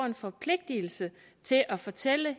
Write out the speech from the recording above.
en forpligtelse til at fortælle